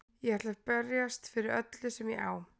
Ég ætla að berjast fyrir öllu sem ég á.